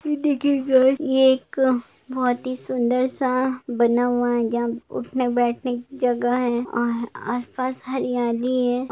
ये देखिये ये एक बहुत ही सुन्दर सा बना हुआ है यहाँ उठने बैठने की जगह है और आस-पास हरियाली है।